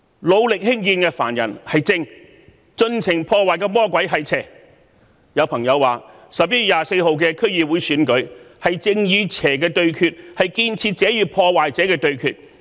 努力興建的凡人是正，盡情破壞的魔鬼是邪，有朋友說11月24日的區議會選舉，正是正與邪的對決，建設者與破壞者的對決。